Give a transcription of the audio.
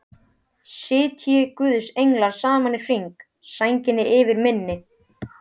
Sitji guðs englar saman í hring, sænginni yfir minni.